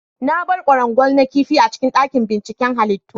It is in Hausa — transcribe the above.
Na bar ƙwarangwal na ƙifi a cikin daƙin ɓinciƙen halittu.